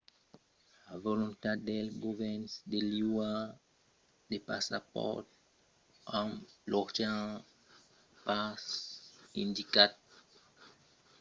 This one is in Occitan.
la volontat dels govèrns de liurar de passapòrts amb lo genre pas indicat x o de documents meses a jorn per correspondre a un nom e genre desirat vària